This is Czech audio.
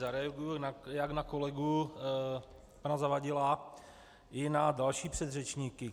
Zareaguji jak na kolegu pana Zavadila i na další předřečníky.